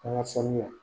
An ka sanuya